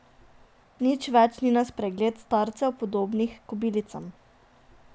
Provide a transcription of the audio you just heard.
Nič več ni na spregled starcev, podobnih kobilicam.